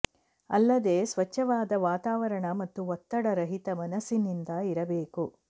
ಅಲ್ಲದೆ ಸ್ವಚ್ಛವಾದ ವಾತಾವರಣ ಮತ್ತು ಒತ್ತಡ ರಹಿತ ಮನಸ್ಸಿನಿಂದ ಇರಬೇಕು